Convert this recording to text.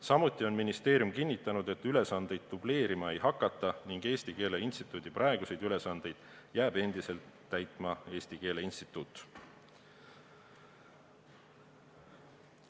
Samuti on ministeerium kinnitanud, et ülesandeid dubleerima ei hakata ning Eesti Keele Instituudi praeguseid ülesandeid jääb endiselt täitma Eesti Keele Instituut.